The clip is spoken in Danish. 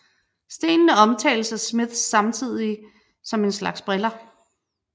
Stenene omtales af Smiths samtidige som en slags briller